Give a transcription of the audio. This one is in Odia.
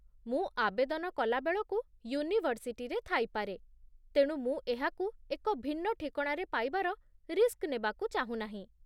ମୁଁ ଆବେଦନ କଲା ବେଳକୁ ୟୁନିଭର୍ସିଟିରେ ଥାଇପାରେ, ତେଣୁ ମୁଁ ଏହାକୁ ଏକ ଭିନ୍ନ ଠିକଣାରେ ପାଇବାର ରିସ୍କ ନେବାକୁ ଚାହୁଁନାହିଁ